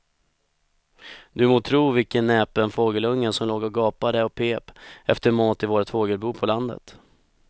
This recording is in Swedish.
Du må tro vilken näpen fågelunge som låg och gapade och pep efter mat i vårt fågelbo på landet.